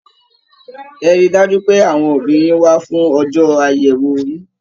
Ẹ̀ rí dájú pé àwọn òbí yín wá fún ọjọ àyẹwò yín!